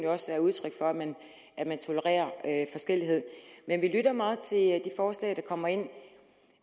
også udtryk for at man tolererer forskellighed men vi lytter meget til de forslag der kommer ind